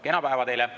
Kena päeva teile!